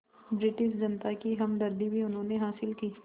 British जनता की हमदर्दी भी उन्होंने हासिल की